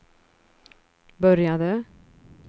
började